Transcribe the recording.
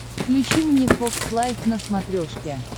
включи мне фокс лайф на смотрешке